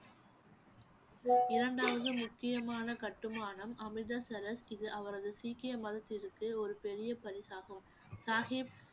இரண்டாவது முக்கியமான கட்டுமானம் அமிர்தசரஸ் இது அவரது சீக்கிய மதத்திற்கு ஒரு பெரிய பரிசாகும் சாஹிப்